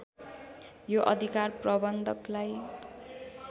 यो अधिकार प्रबन्धकलाई